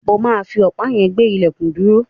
O máa fi ọ̀pá yẹn gbé ilẹ̀kùn dúró.